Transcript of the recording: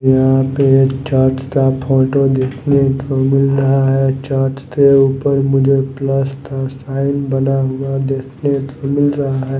यहां पे चर्च का फोटो दिखने को मिल रहा है। चर्च के ऊपर मुझे प्लस का साइन बना हुआ दिखने को मिल रहा है।